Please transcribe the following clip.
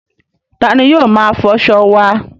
Ta ni yóò máa fọṣọ wá?